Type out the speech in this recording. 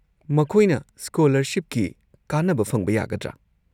ꯃꯈꯣꯏꯅ ꯁ꯭ꯀꯣꯂꯔꯁꯤꯞꯀꯤ ꯀꯥꯟꯅꯕ ꯐꯪꯕ ꯌꯥꯒꯗ꯭ꯔꯥ?